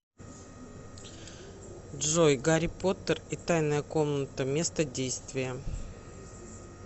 джой гарри поттер и тайная комната место действия